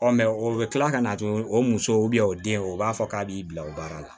Ɔ o bɛ kila ka na tugun o muso o den o b'a fɔ k'a b'i bila o baara la